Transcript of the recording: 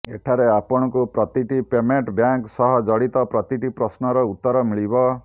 ଏଠାରେ ଆପଣଙ୍କୁ ପ୍ରତିଟି ପେମେଂଟ ବ୍ୟାଙ୍କ ସହ ଜଡିତ ପ୍ରତିଟି ପ୍ରଶ୍ନର ଉତର ମିଳିବ